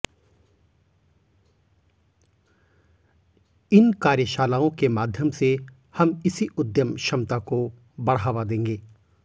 इन कार्यशालाओं के माध्यम से हम इसी उद्यम क्षमता को बढ़ावा देंगे